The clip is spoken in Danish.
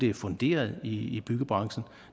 er funderet i byggebranchen